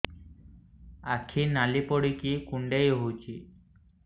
ଆଖି ନାଲି ପଡିକି କୁଣ୍ଡେଇ ହଉଛି